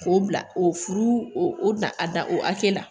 K'o bila o furu o o dan a dan o hakɛ la.